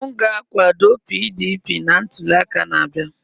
M ga-akwado PDP na ntuli aka na-abịa.